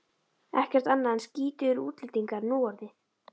Ekkert annað en skítugir útlendingar núorðið.